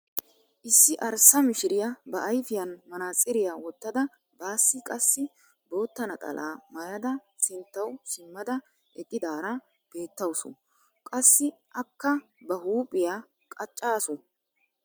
Issi arssa mishiriyaa ba ayfiyaan manaatsiriyaa wottada baassi qassi bootta naxalaa maayada sinttawu simmada eqqidaara beettawus. Qassi akka ba huuphphiyaa qacaasu.